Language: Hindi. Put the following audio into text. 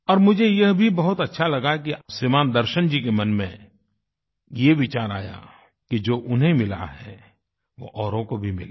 और मुझे यह भी बहुत अच्छा लगा कि श्रीमान् दर्शन जी के मन में ये विचार आया कि जो उन्हें मिला है वो औरों को भी मिले